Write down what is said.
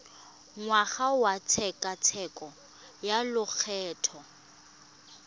ngwaga wa tshekatsheko ya lokgetho